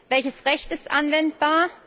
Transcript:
Welches Recht ist anwendbar?